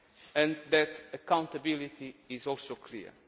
and that accountability is also clear.